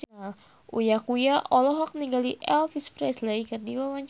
Uya Kuya olohok ningali Elvis Presley keur diwawancara